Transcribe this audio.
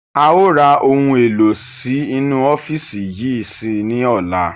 Áà ó ra ohun èlò sì inú ọ́fíìsì yìí sí ní ọ̀la.